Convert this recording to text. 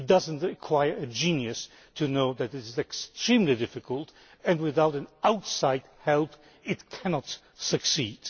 It does not require a genius to know that it is extremely difficult, and without outside help it cannot succeed.